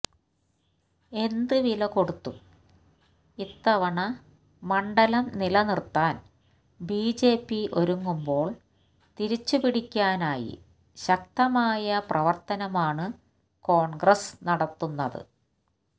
എന്തുവില കൊടുത്തും ഇത്തവണ മണ്ഡലം നിലനിര്ത്താന് ബിജെപി ഒരുങ്ങുമ്പോള് തിരിച്ചു പിടിക്കാനായി ശക്തമായ പ്രവര്ത്തനമാണ് കോണ്ഗ്രസ് നടത്തുന്നത്